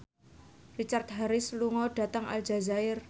Richard Harris lunga dhateng Aljazair